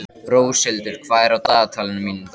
Róshildur, hvað er á dagatalinu mínu í dag?